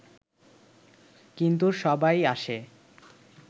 কিন্তু সবাই আসে